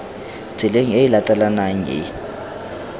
tseleng e e latelanang e